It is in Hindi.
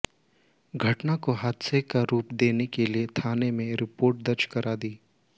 घटना को हादसे का रूप देने के लिए थाने में रिपोर्ट दर्ज करा दी